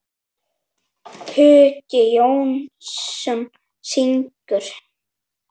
Hugi Jónsson syngur.